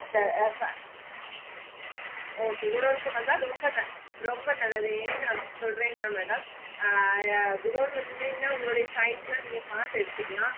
ஆஹ் இந்த app okay godown கு வந்த ரொம்ப ரொம்ப நல்லது என் ந அப்டி சொல்றேன்னா madam ஆஹ் godown வந்திங்கனா உங்களோட size ல நீங்க பாத்து எடுத்துக்கலாம்